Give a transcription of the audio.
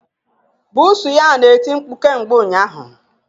Buusu ya na-eti mkpu kemgbe ụnyaahụ